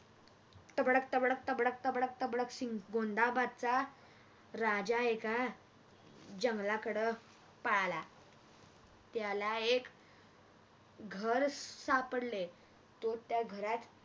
तबडक तबडक तबडक तबडक तबडक गोंदाबादचा राजा अह एकां जंगलाकड पळाला त्याला एक घर सापडले तो त्या घरात